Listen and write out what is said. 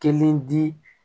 Kelen di